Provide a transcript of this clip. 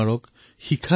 बिजलियाँ चाहे गिराओ